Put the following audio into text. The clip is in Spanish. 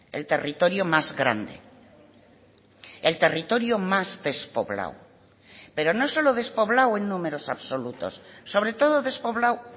el territorio más grande el territorio más despoblado pero no solo despoblado en números absolutos sobre todo despoblado